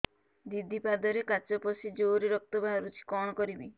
ଦିଦି ପାଦରେ କାଚ ପଶି ଜୋରରେ ରକ୍ତ ବାହାରୁଛି କଣ କରିଵି